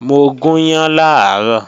Mo gùn yán làárọ̀